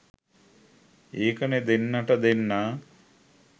ඒකනේ දෙන්නට දෙන්නා